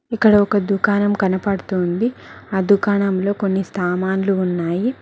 ఇక్కడ ఒక దుకాణం కనపడుతుంది ఆ దుకాణంలో కొన్ని స్తామాన్లు ఉన్నాయి.